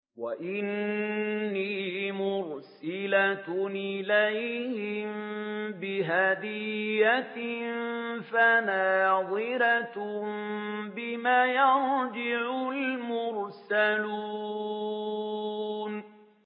وَإِنِّي مُرْسِلَةٌ إِلَيْهِم بِهَدِيَّةٍ فَنَاظِرَةٌ بِمَ يَرْجِعُ الْمُرْسَلُونَ